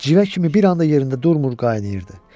Civə kimi bir anda yerində durmur, qaynayırdı.